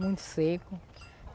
Muito seco.